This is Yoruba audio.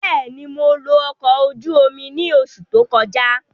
Bẹ́ẹ̀ni, Mo lo ọkọ oju omi ni oṣu to kọja.